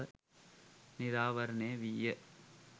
නිරාවරණය විය